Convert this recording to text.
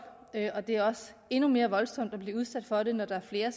og det er endnu mere voldsomt at blive udsat for det når der er flere